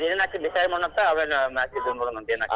ಅದೇನ್ ಆಕ್ಕೆತಿ decide ಮಾಡೋನಾಂತ್ ಆಮೇಲೆ match ನೋಡೂನಾಂತ್ ಏನ್ ಆಕ್ಕೆತಿ ಅಂತ.